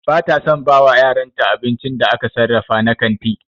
Ba ta son ta bawa yaranta abincin da aka sarrafa na kanti.